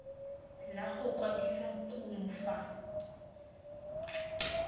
la go kwadisa kumo fa